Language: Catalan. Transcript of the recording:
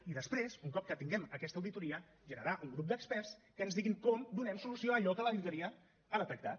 i després un cop que tinguem aquesta auditoria generar un grup d’experts que ens diguin com donem solució a allò que l’auditoria ha detectat